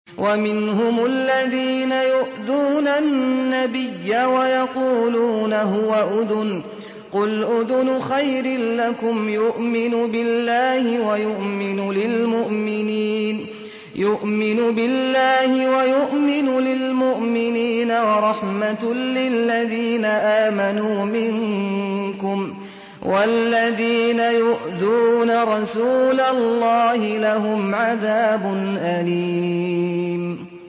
وَمِنْهُمُ الَّذِينَ يُؤْذُونَ النَّبِيَّ وَيَقُولُونَ هُوَ أُذُنٌ ۚ قُلْ أُذُنُ خَيْرٍ لَّكُمْ يُؤْمِنُ بِاللَّهِ وَيُؤْمِنُ لِلْمُؤْمِنِينَ وَرَحْمَةٌ لِّلَّذِينَ آمَنُوا مِنكُمْ ۚ وَالَّذِينَ يُؤْذُونَ رَسُولَ اللَّهِ لَهُمْ عَذَابٌ أَلِيمٌ